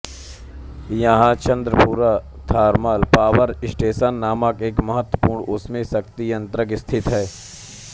यहाँ Chandrapur thermal power station नामक एक महत्वपूर्ण ऊष्मीय शक्ति संयंत्र स्थित है